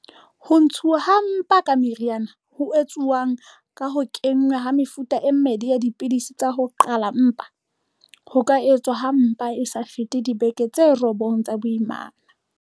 Ho ntshuwa ha mpa ka meriana, ho etsuwang ka ho kenngwa ha mefuta e mmedi ya dipidisi tsa ho qhala mpa, ho ka etswa ha mpa e sa fete dibeke tse robong tsa boimana.